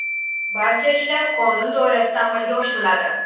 Barcha ishlar qonun doirasida amalga oshiriladi.